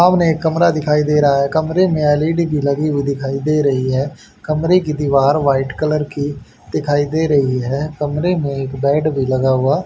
सामने एक कमरा दिखाई दे रहा कमरे में एल_ई_डी भी लगी हुई दिखाई दे रही है कमरे की दीवार व्हाइट कलर की दिखाई दे रही है कमरे में एक बेड भी लगा हुआ--